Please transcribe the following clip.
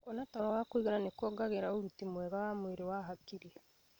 Kũona toro wa kũigana nĩ kũongagĩrira ũruti mwega wa mwĩrĩ na hakiri.